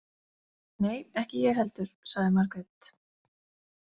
Nei, ég ekki heldur, sagði Margrét.